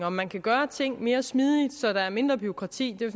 om man kan gøre ting mere smidigt så der er mindre bureaukrati det er